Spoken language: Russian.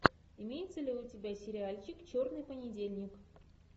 имеется ли у тебя сериальчик черный понедельник